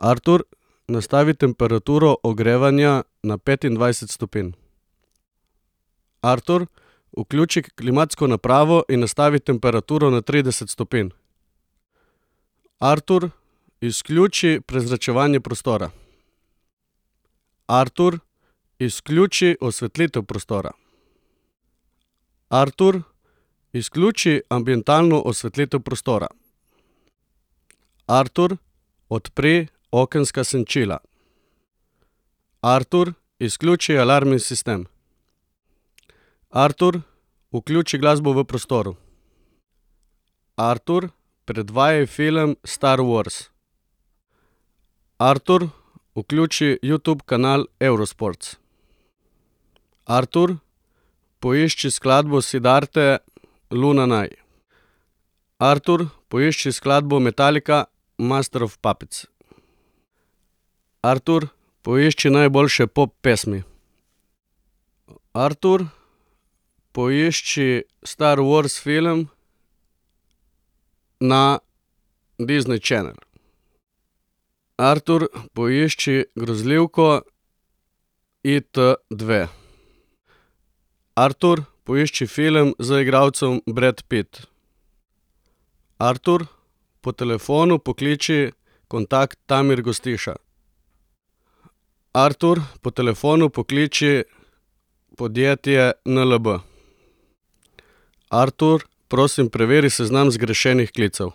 Artur, nastavi temperaturo ogrevanja na petindvajset stopinj. Artur, vključi klimatsko napravo in nastavi temperaturo na trideset stopinj. Artur, izključi prezračevanje prostora. Artur, izključi osvetlitev prostora. Artur, izključi ambientalno osvetlitev prostora. Artur, odpri okenska senčila. Artur, izključi alarmni sistem. Artur, vključi glasbo v prostoru. Artur, predvajaj film Star wars. Artur, vključi Youtube kanal Eurosports. Artur, poišči skladbo Siddharte Lunanai. Artur, poišči skladbo Metallica Master of puppets. Artur, poišči najboljše pop pesmi. Artur, poišči Star wars film na Disney channel. Artur, poišči grozljivko It dve. Artur, poišči film z igralcem Brad Pitt. Artur, po telefonu pokliči kontakt Damir Gostiša. Artur, po telefonu pokliči podjetje NLB. Artur, prosim, preveri seznam zgrešenih klicev.